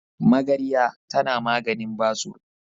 Magarya tana maganin basur.